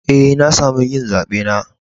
Eh, na samu yin zabe na.